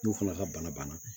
N'u fana ka bana banna